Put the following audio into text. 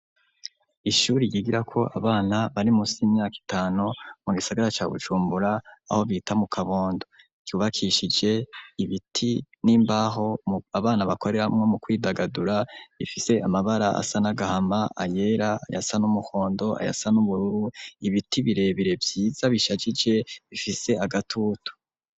Ishure ryigirako abana bari musi y'imyaka itanu, mu gisagara ca Bujumbura, aho bita mu Kabondo, ryubakishije ibiti n'imbaho, abana bakoreramwo mu kwidagadura, rifise amabara asa n'agahama, ayera, ayasa n'umuhondo, ayasa n'ubururu, ibiti birebire vyiza bishajije, bifise agatutu.